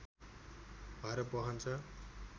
भएर बहन्छ